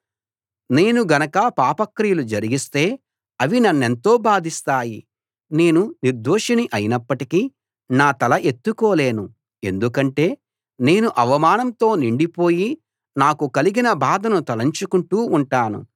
నేను గనక పాప క్రియలు జరిగిస్తే అవి నన్నెంతో బాధిస్తాయి నేను నిర్దోషిని అయినప్పటికీ నా తల ఎత్తుకోలేను ఎందుకంటే నేను అవమానంతో నిండి పోయి నాకు కలిగిన బాధను తలంచుకుంటూ ఉంటాను